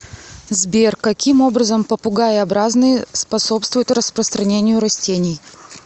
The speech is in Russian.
сбер каким образом попугаеобразные способствуют распространению растений